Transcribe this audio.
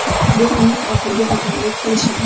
Bu mening oxirgi hakamlik qilishim.